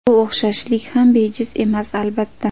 Bu o‘xshashlik ham bejiz emas, albatta.